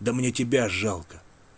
да мне тебя жалко